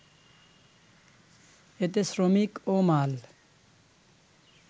এতে শ্রমিক ও মাল